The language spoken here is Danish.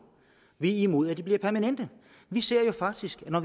vi er imod at de bliver gjort permanente vi ser faktisk på